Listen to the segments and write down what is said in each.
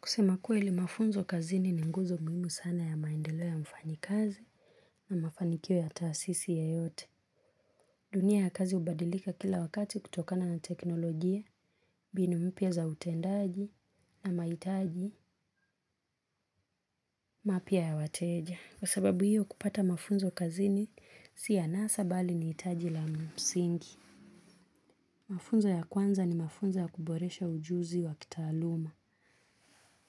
Kusema kuwa ili mafunzo kazini ni nguzo muhimu sana ya maendeleo ya mfanyi kazi na mafanikio ya taasisi ye yote. Dunia ya kazi ubadilika kila wakati kutokana na teknolojia, binu mpya za utendaji na maitaji mapya ya wateja. Kwa sababu hiyo kupata mafunzo kazini sia nasa bali ni itaji la msingi. Mafunzo ya kwanza ni mafunzo ya kuboresha ujuzi wa kitaaluma.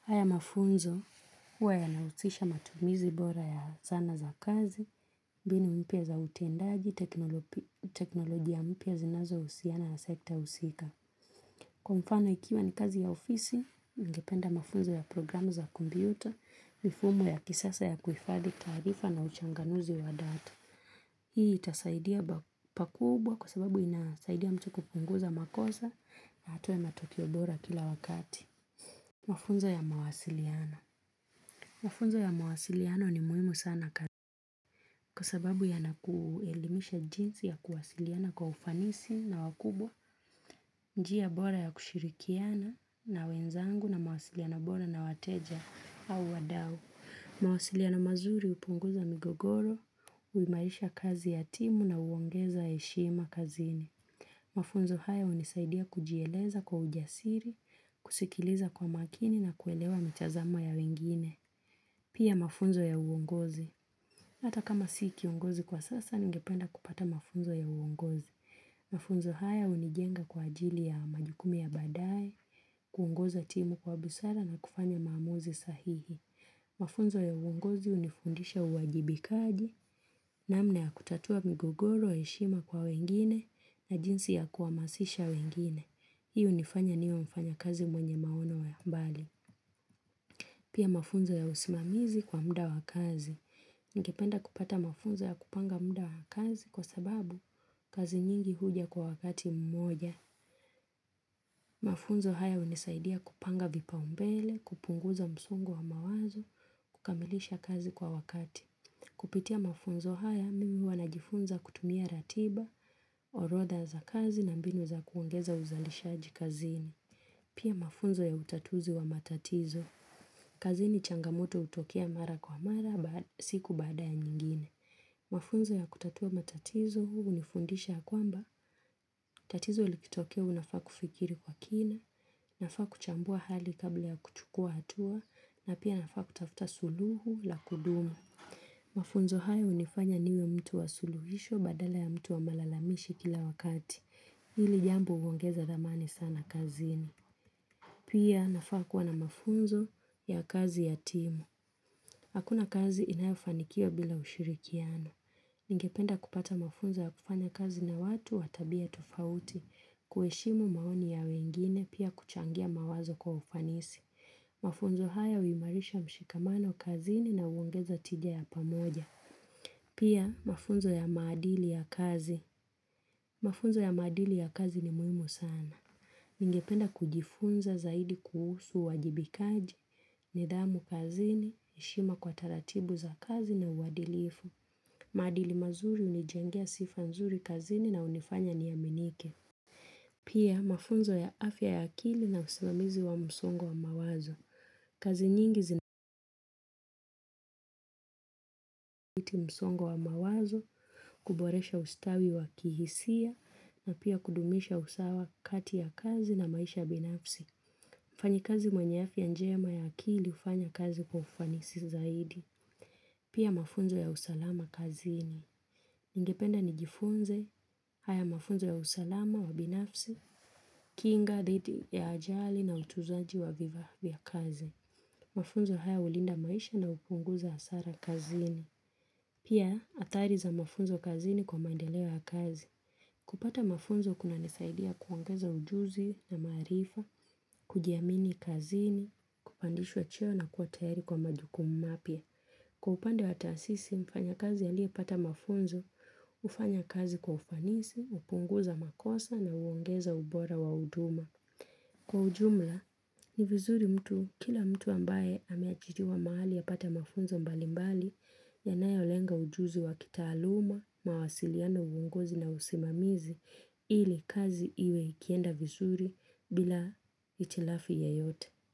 Haya mafunzo huwa ya na usisha matumizi bora ya zana za kazi, mbinu mpya za utendaji, teknolojia mpya zinazo usiana ya sekta usika. Kwa mfano ikiwa ni kazi ya ofisi, ningependa mafunzo ya programu za kumpyuta, mifumo ya kisasa ya kuifadhi taarifa na uchanganuzi wa data. Hii itasaidia pakubwa kwa sababu inasaidia mtu kupunguza makosa na atoe matokeo bora kila wakati. Mafunzo ya mawasiliano. Mafunzo ya mawasiliano ni muimu sana kazi. Kwa sababu ya nakuelimisha jinsi ya kuwasiliana kwa ufanisi na wakubwa, njia bora ya kushirikiana na wenzangu na mawasiliano bora na wateja au wadau. Mawasilia no mazuri upunguza migogoro, uimarisha kazi ya timu na uongeza eshima kazini. Mafunzo haya unisaidia kujieleza kwa ujasiri, kusikiliza kwa makini na kuelewa mitazamo ya wengine. Pia mafunzo ya uongozi. Hata kama sikiongozi kwa sasa ningependa kupata mafunzo ya uongozi. Mafunzo haya unijenga kwa ajili ya majukumu ya badaye kuongoza timu kwa busara na kufanya maamuzi sahihi. Mafunzo ya uongozi unifundisha uwajibikaji na mna ya kutatua migogoro heshima kwa wengine na jinsi ya kuamasisha wengine. Hii unifanya niwe mfanya kazi mwenye maono ya mbali. Pia mafunzo ya usimamizi kwa muda wakazi. Ningependa kupata mafunzo ya kupanga muda wakazi kwa sababu kazi nyingi huja kwa wakati mmoja. Mafunzo haya unisaidia kupanga vipa umbele, kupunguza msungo wa mawazo, kukamilisha kazi kwa wakati. Kupitia mafunzo haya, mimi huwa najifunza kutumia ratiba, orodha za kazi na mbinu za kuongeza uzalisha aji kazini. Pia mafunzo ya utatuzi wa matatizo. Kazini changamoto utokea mara kwa mara, siku baada ya nyingine. Mafunzo ya kutatua matatizo unifundisha ya kwamba, tatizo likitokea unafaa kufikiri kwa kina, nafaa kuchambua hali kabla ya kuchukua hatua, na pia nafaa kutafuta suluhu la kudumu. Mafunzo haya unifanya niwe mtu wa suluhisho badala ya mtu wa malalamishi kila wakati, hili jambo uongeza dhamani sana kazini. Pia nafaa kuwana mafunzo ya kazi ya timu. Hakuna kazi inayofanikiwa bila ushirikiano. Ningependa kupata mafunzo ya kufanya kazi na watu watabia tofauti, kuheshimu maoni ya wengine, pia kuchangia mawazo kwa ufanisi. Mafunzo haya uimarisha mshikamano kazi ni na uongeza tijaya pamoja. Pia mafunzo ya maadili ya kazi. Mafunzo ya maadili ya kazi ni muhimu sana. Ningependa kujifunza zaidi kuhusu uwajibikaji, nidhamu kazini, heshima kwa taratibu za kazi na uwadilifu. Maadili mazuri unijengea sifa nzuri kazini na unifanya niaminike. Pia mafunzo ya afya ya akili na usimamizi wa msongo wa mawazo. Kazi nyingi zinakuti msongo wa mawazo, kuboresha ustawi wa kihisia na pia kudumisha usawa kati ya kazi na maisha binafsi. mFanyi kazi mwenye afya njema ya akili ufanya kazi kufanisi zaidi. Pia mafunzo ya usalama kazini. niNgependa ni jifunze, haya mafunzo ya usalama wa binafsi, kinga, dhidi ya ajali na utuzaji wa vifaa vya kazi. Mafunzo haya ulinda maisha na upunguza asara kazini. Pia atari za mafunzo kazini kwa maendeleo kazi. Kupata mafunzo kuna nisaidia kuongeza ujuzi na maarifa, kujiamini kazini, kupandishwa cheo na kuwa tayari kwa majukumu mapya. Kwa upande wataasisi, mfanya kazi ya liye pata mafunzo, ufanya kazi kwa ufanisi, upunguza makosa na uongeza ubora wa uduma. Kwa ujumla, ni vizuri mtu, kila mtu ambaye ameajiriwa mahali apate mafunzo mbali mbali, yanayolenga ujuzi wa kita aluma, mawasiliano uongozi na usimamizi, ili kazi iwe ikienda vizuri bila itilafi ya yote.